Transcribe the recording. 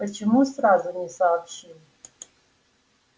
почему сразу не сообщил